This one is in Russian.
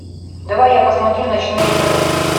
давай я посмотрю ночные сады